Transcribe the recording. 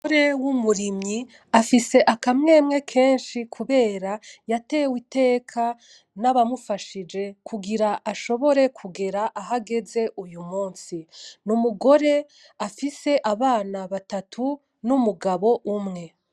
Umugore w'umurimyi afise akamwemwe kenshi kubera yateye iteka n'abamufashije kugira ashobobore kugera ahagaze uyu munsi. Ni umugore afise abana batatu n'umugabo umwe.